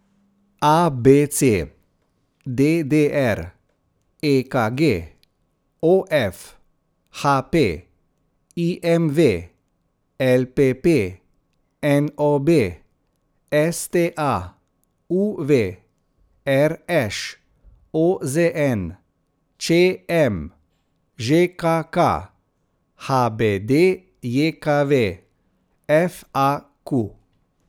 A B C; D D R; E K G; O F; H P; I M V; L P P; N O B; S T A; U V; R Š; O Z N; Č M; Ž K K; H B D J K V; F A Q.